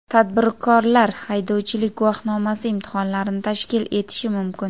Tadbirkorlar haydovchilik guvohnomasi imtihonlarini tashkil etishi mumkin.